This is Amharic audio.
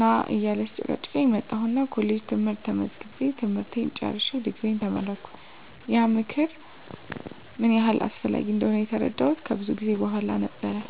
ና እያለ ሲጨቀጭቀኝ መጣሁና ኮሌጅ ትምህርት ተመዝግቤ ትምህርቴን ጨርሸ ድግሪየን ተመረቀሁ። *ያ ምክር ምን ያህል አስፈላጊ እንደሆነ የተረዳሁት ከብዙ ጊዜ በኋላ ነው።